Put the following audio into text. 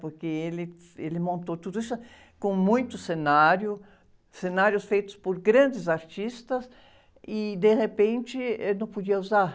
Porque ele, ele montou tudo isso com muito cenário, cenários feitos por grandes artistas, e, de repente, ele não podia usar.